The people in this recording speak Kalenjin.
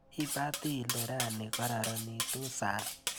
Ibati ile rani koraranitu sang?